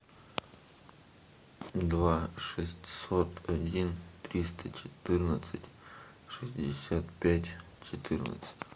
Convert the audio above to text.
два шестьсот один триста четырнадцать шестьдесят пять четырнадцать